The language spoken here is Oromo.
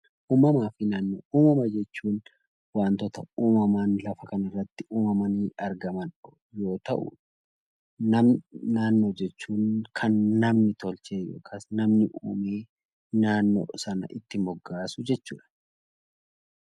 Uummama jechuun wantoota uummamaan lafa kana irratti uummamaanii argaman yoo ta'u naannoo jechuun kan namni uumee itti moggaasu jechuudha.